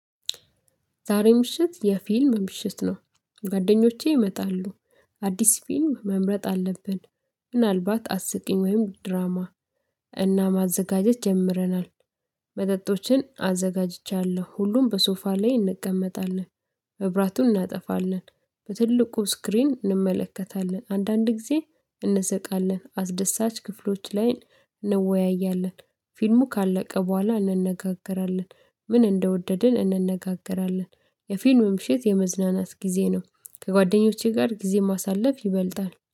ዛሬ ምሽት የፊልም ምሽት ነው። ጓደኞቼ ይመጣሉ አዲስ ፊልም መምረጥ አለብን። ምናልባት አስቂኝ ወይም ድራማ እና ማዘጋጀት ጀምረናል፤። መጠጦችን አዘጋጅቻለሁ ሁሉም በሶፋ ላይ እንቀመጣለን። መብራቱን እናጠፋለን በትልቁ ስክሪን እንመለከታለን። አንዳንድ ጊዜ እንሰቃለን አስደሳች ክፍሎች ላይ እንወያያለን። ፊልሙ ካለቀ በኋላ እንነጋገራለን። ምን እንደወደድን እንነጋገራለን። የፊልም ምሽት የመዝናናት ጊዜ ነው። ከጓደኞቼ ጋር ጊዜ ማሳለፍ ይበልጣል፤